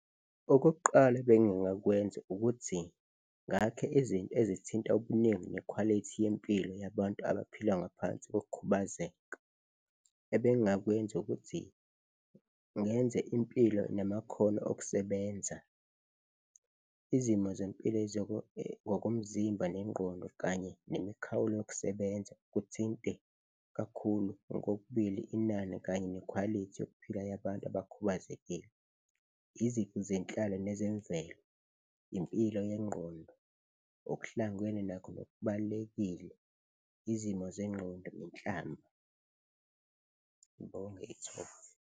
Okokuqala ebengingakwenza ukuthi ngakhe izinto ezithinta ubuningi nekhwalithi yempilo yabantu abaphila ngaphansi kokukhubazeka. Ebengingakwenza ukuthi ngenze impilo namakhono okusebenza, izimo zempilo ngokomzimba nengqondo kanye nemikhawulo yokusebenza, kuthinte kakhulu ngokokubili inani kanye nekhwalithi yokuphila yabantu abakhubazekile, izifu zenhlalo nezemvelo, impilo yengqondo, okuhlangwene nakho nokubalulekile izimo zengqondo nenhlalo. Ngibonge ithuba.